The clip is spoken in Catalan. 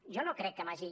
jo no crec que m’hagi